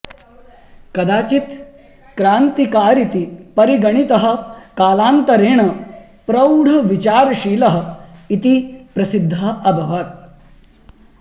कदाचित् क्रान्तिकारीति परिगणितः कालान्तरेण प्रौढविचारशीलः इति प्रसिद्धः अभवत्